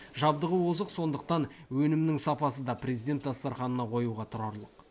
жабдығы озық сондықтан өнімнің сапасы да президент дастарханына қоюға тұрарлық